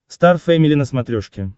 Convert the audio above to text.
стар фэмили на смотрешке